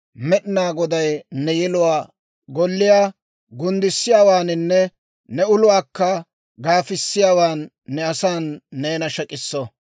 Med'inaa Goday ne yeluwaa golliyaa gunddissiyaawaaninne ne uluwaakka gaafisiyaawan, ne asan neena shek'iso.